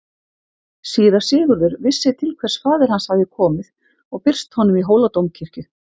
Síra Sigurður vissi til hvers faðir hans hafði komið og birst honum í Hóladómkirkju.